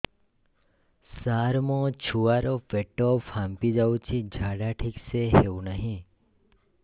ସାର ମୋ ଛୁଆ ର ପେଟ ଫାମ୍ପି ଯାଉଛି ଝାଡା ଠିକ ସେ ହେଉନାହିଁ